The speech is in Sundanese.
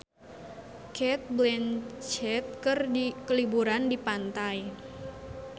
Cate Blanchett keur liburan di pantai